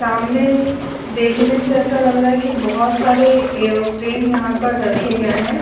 सामने देखने से ऐसा लग रहा है की बहुत सारे एरोप्लेन यहाँ पर रखे गए है।